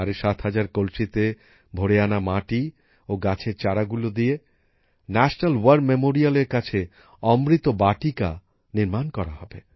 ৭৫০০ কলসিতে ভরে আনা মাটি ও গাছের চারা গুলি দিয়ে জাতীয় যুদ্ধ স্মারকের কাছে অমৃত বাটিকা নির্মাণ করা হবে